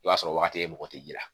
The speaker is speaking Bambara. I b'a sɔrɔ wagati e mɔgɔ tɛ ji la